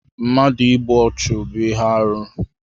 Mmadụ ịgbụ ọchu bú ihe arụ